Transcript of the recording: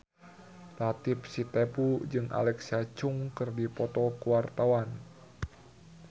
Latief Sitepu jeung Alexa Chung keur dipoto ku wartawan